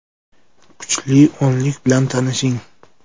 Kuchli o‘nlik bilan tanishing: !